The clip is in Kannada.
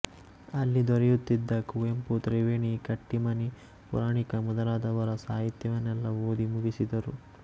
ಅಲ್ಲಿ ದೊರೆಯುತ್ತಿದ್ದ ಕುವೆಂಪು ತ್ರಿವೇಣಿ ಕಟ್ಟೀಮನಿ ಪುರಾಣಿಕ ಮೊದಲಾದವರ ಸಾಹಿತ್ಯವನ್ನೆಲ್ಲಾ ಓದಿ ಮುಗಿಸಿದರು